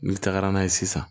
N'i tagara n'a ye sisan